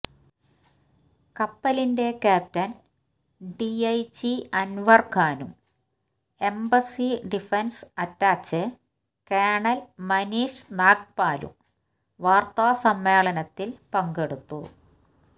കപ്പലിന്റെ captain DIG Anwar ഖാനും embassy defence attache colonel Manish Nag പാലും വാർത്താസമ്മേളനത്തിൽ പങ്കെടുത്തു